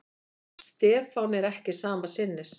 Stefán er ekki sama sinnis.